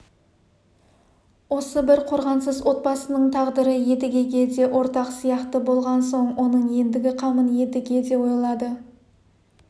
осы бір қорғансыз отбасының тағдыры едігеге де ортақ сияқты болған соң оның ендігі қамын едіге де ойлады